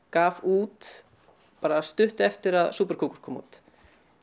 gaf út stuttu eftir að kom út